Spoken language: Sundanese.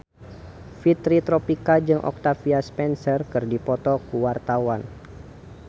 Fitri Tropika jeung Octavia Spencer keur dipoto ku wartawan